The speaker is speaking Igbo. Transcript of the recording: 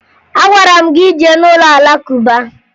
Agwara m gị jee n'ụlọ Alakụba